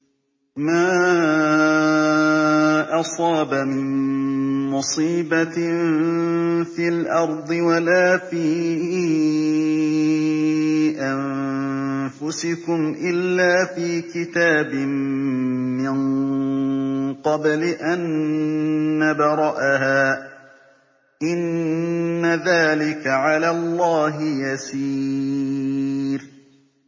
مَا أَصَابَ مِن مُّصِيبَةٍ فِي الْأَرْضِ وَلَا فِي أَنفُسِكُمْ إِلَّا فِي كِتَابٍ مِّن قَبْلِ أَن نَّبْرَأَهَا ۚ إِنَّ ذَٰلِكَ عَلَى اللَّهِ يَسِيرٌ